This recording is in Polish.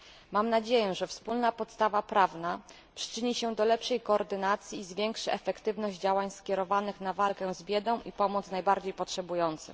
Mam nadzieję, że wspólna podstawa prawna przyczyni się do lepszej koordynacji i zwiększy efektywność działań skierowanych na walkę z biedą i pomoc najbardziej potrzebującym.